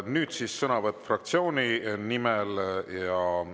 Nüüd siis sõnavõtt fraktsiooni nimel.